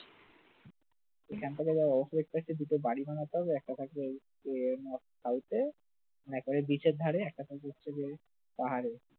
এখান থেকে দুটো বাড়ি বানাতে হবে একটা থাকবে ইয়ে north side এ মানে একেবারে beach এর ধারে একটা থাকবে হচ্ছে গিয়ে পাহাড়ে